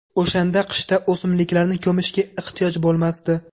O‘shanda qishda o‘simliklarni ko‘mishga ehtiyoj bo‘lmasdi”.